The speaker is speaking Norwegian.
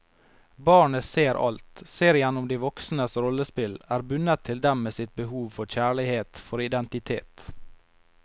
Barnet ser alt, ser igjennom de voksnes rollespill, er bundet til dem med sitt behov for kjærlighet, for identitet.